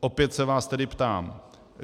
Opět se vás tedy ptám: